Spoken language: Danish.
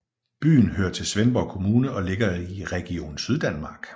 Byen hører til Svendborg Kommune og ligger i Region Syddanmark